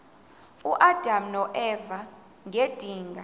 uadam noeva ngedinga